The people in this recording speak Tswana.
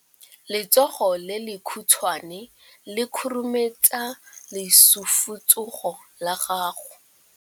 Letsogo le lekhutshwane le khurumetsa lesufutsogo la gago.